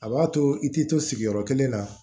A b'a to i tɛ to sigiyɔrɔ kelen na